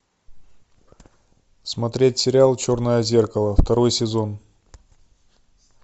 смотреть сериал черное зеркало второй сезон